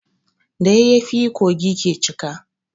Da yayyafi kogi ke cika.